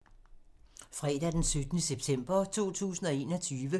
Fredag d. 17. september 2021